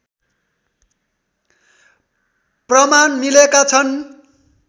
प्रमाण मिलेका छन्